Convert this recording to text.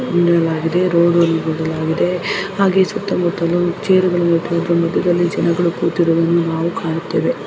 ಎನ್ನಲಾಗಿದೆ ರೋಡು ಎನ್ನಲಾಗಿದೆ ಹಾಗೆ ಸುತ್ತಮುತ್ತಲೂ ಚೇರುಗಳು ಇಟ್ಟುಕೊಂಡು ಮದ್ಯದಲ್ಲಿ ಜನಗಳು ಕೂತಿರುವುದನ್ನು ನಾವು ಕಾಣುತ್ತೇವೆ.